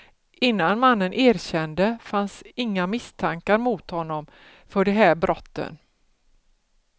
Innan mannen erkände fanns inga misstankar mot honom för de här brotten.